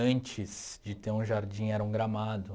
Antes de ter um jardim, era um gramado.